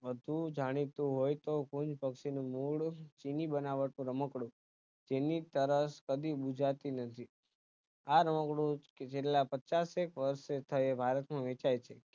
વધુ જાણીતું હોય તો કુંજપક્ષી નું મૂળ ચીની બનાવટ નું રમકડું જેની તરસ કદી ગુજરાતી ન થયું આ રમકડું કે જેટલા પચાશેક વર્ષ થયે ભારત નું